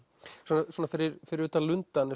svona fyrir fyrir utan lundann